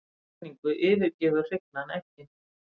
Eftir hrygningu yfirgefur hrygnan eggin.